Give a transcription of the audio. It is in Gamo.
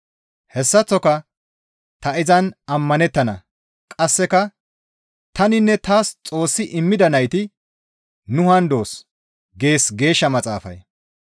Hessaththoka, «Ta izan ammanettana» qasseka, «Taninne taas Xoossi immida nayti nu haan doos» gees Geeshsha Maxaafay.